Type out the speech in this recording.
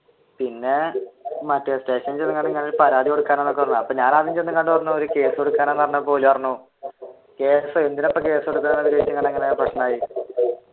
പിന്നെ മറ്റേ സ്റ്റേഷനിൽ ചെന്നപ്പോൾ പരാതി കൊടുക്കാനാണെന്നു പറഞ്ഞു അപ്പൊ ഞാൻ ആദ്യം ഒരു കേസ് കൊടുക്കാനാണെന്നു പറഞ്ഞപ്പോൾ ഓർ പറഞ്ഞു